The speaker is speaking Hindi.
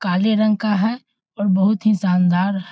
काले रंग का है और बहुत ही शानदार --